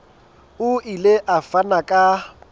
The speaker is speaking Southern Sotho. o ile a fana ka